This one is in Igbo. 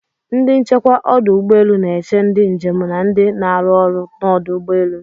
Ndị nchekwa ọdụ ụgbọelu n'eche ndị njem na ndị n'aru ọrụ n'ọdụ ụgbọelu.